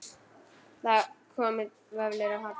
Það komu vöflur á Halla.